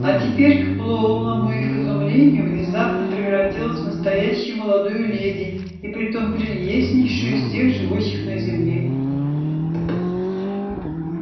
а теперь к полному их изумлению внезапно превратилась в настоящую молодую леди и притом прелестнейшую из всех живущих на земле